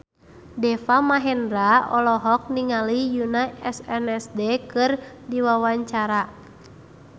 Deva Mahendra olohok ningali Yoona SNSD keur diwawancara